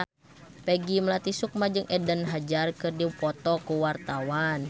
Peggy Melati Sukma jeung Eden Hazard keur dipoto ku wartawan